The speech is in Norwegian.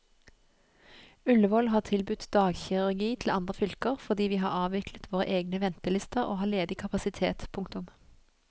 Ullevål har tilbudt dagkirurgi til andre fylker fordi vi har avviklet våre egne ventelister og har ledig kapasitet. punktum